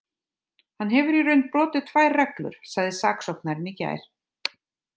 Hann hefur í raun brotið tvær reglur, sagði saksóknarinn í gær.